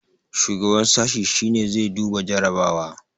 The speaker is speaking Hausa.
shugaban sashi shi ne zai duba jarrabawa